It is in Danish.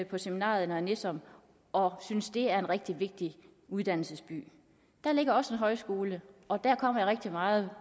på seminariet i nørre nissum og synes at det er en rigtig vigtig uddannelsesby der ligger også en højskole og der kommer jeg rigtig meget